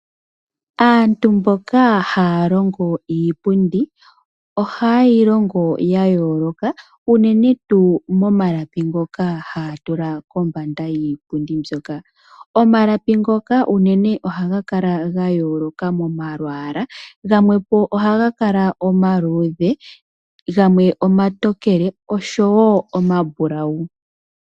Oto vulu okwiilandela iipundi yoye iiwaanawa hoka ta ku vulu oku kuutumba aanegumbo yoye nenge aayenda sho tayeya oku ku talelapo.